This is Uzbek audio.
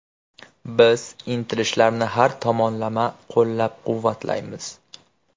Biz intilishlarni har tomonlama qo‘llab-quvvatlaymiz.